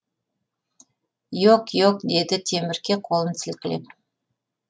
иоқ иоқ деді темірке қолын сілкілеп